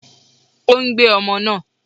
Ó ń gbé ọmọ náà.